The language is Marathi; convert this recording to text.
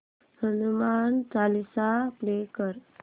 हनुमान चालीसा प्ले कर